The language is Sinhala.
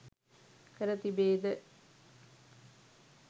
කර තිබේද?